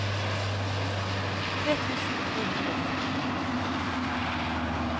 tre tusen to hundre og nitten